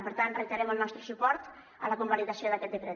per tant reiterem el nostre suport a la convalidació d’aquest decret